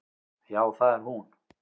Já, það er hún.